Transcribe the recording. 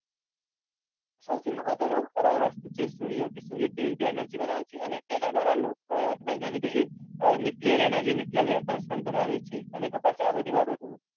સૌથી મહત્વની અર હતો એ સુર્ય છે. સુ્ર્ય કઈ રીતે એનર્જી બનાવે છે. અને એના દ્રારા વૈજ્ઞાનીકો ન્યુક્લિયર એનર્જી ન્યુક્લિયર વેપન પણ બનાવે છે.